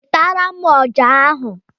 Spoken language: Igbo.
Wetara m ọjà ahụ!